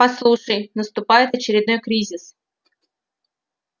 послушай наступает очередной кризис